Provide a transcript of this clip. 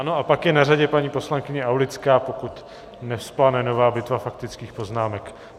Ano a pak je na řadě paní poslankyně Aulická, pokud nevzplane nová bitva faktických poznámek.